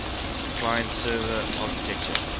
client server architecture